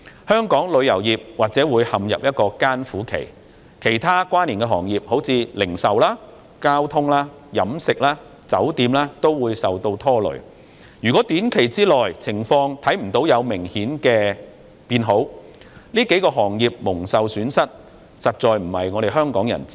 香港旅遊業或會陷入艱苦期，其他關連的行業，例如零售、交通、飲食、酒店等也會受拖累，如果在短期內未能看到情況有明顯改善，這數個行業蒙受損失，實在並非香港人之福。